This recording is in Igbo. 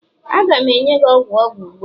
a ga m enye gi ogwu ogwu ugbua?